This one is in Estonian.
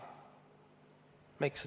Miks?